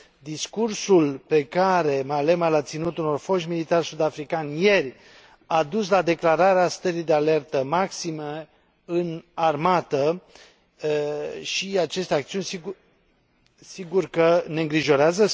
Discursul pe care Malema l a ținut unor foști militari sud africani ieri a dus la declararea stării de alertă maximă în armată și aceste acțiuni sigur că ne îngrijorează.